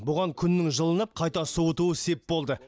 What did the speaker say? бұған күннің жылынып қайта суытуы сеп болды